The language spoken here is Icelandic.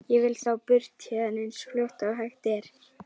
Ég vil þá burt héðan eins fljótt og hægt er.